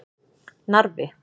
Narfi